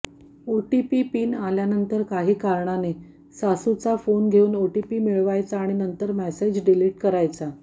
OTP PIN आल्यानंतर काही कारणाने सासूचा फोन घेऊन ओटीपी मिळवायचा आणि नंतर मेसेज डिलीट करायचा